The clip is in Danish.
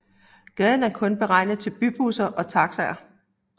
Gaden er kun beregnet til bybusser og taxier